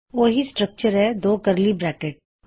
ਇਸਦਾ ਵੀ ਓਹੀ ਸਟ੍ਰੱਕ੍ਚਰ ਹੈ ਯਾਨੀ ਦੋ ਕਰਲੀ ਬ੍ਰੈਕਿਟਸ